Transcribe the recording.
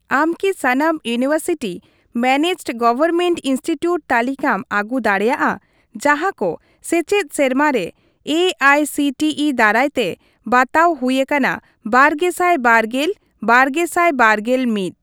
ᱟᱢ ᱠᱤ ᱥᱟᱱᱟᱢ ᱤᱭᱩᱱᱤᱵᱷᱟᱨᱥᱤᱴᱤ ᱢᱮᱱᱮᱡᱰᱼᱜᱚᱣᱚᱨᱢᱮᱱᱴ ᱤᱱᱥᱴᱤᱴᱤᱣᱩᱴ ᱛᱟᱞᱤᱠᱟᱢ ᱟᱹᱜᱩ ᱫᱟᱲᱮᱭᱟᱜᱼᱟ ᱡᱟᱸᱦᱟ ᱠᱚ ᱥᱮᱪᱮᱫ ᱥᱮᱨᱢᱟ ᱨᱮ ᱮᱟᱭᱥᱤᱴᱤᱤ ᱫᱟᱨᱟᱭᱛᱮ ᱵᱟᱛᱟᱣ ᱦᱩᱭ ᱟᱠᱟᱱᱟ ᱵᱟᱨᱜᱮᱥᱟᱭ ᱵᱟᱨᱜᱮᱞᱼᱵᱟᱨᱜᱮᱥᱟᱭ ᱵᱟᱨᱜᱮᱞ ᱢᱤᱛ ?